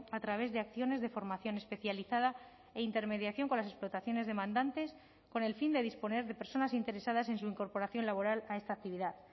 a través de acciones de formación especializada e intermediación con las explotaciones demandantes con el fin de disponer de personas interesadas en su incorporación laboral a esta actividad